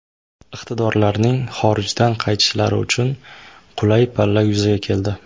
Iqtidorlarning xorijdan qaytishlari uchun qulay palla yuzaga keldi.